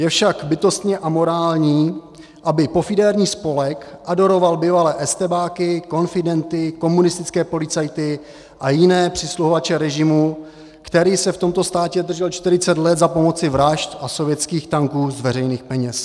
Je však bytostně amorální, aby pofidérní spolek adoroval bývalé estébáky, konfidenty, komunistické policajty a jiné přisluhovače režimu, který se v tomto státě držel 40 let za pomocí vražd a sovětských tanků, z veřejných peněz.